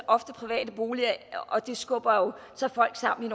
ofte private boliger og det skubber jo så folk sammen i